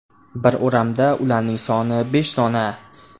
Bir o‘ramda ularning soni besh dona.